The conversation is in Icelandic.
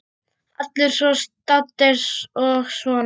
Allir svo saddir og svona.